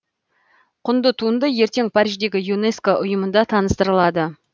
құнды туынды ертең париждегі юнеско ұйымында таныстырылады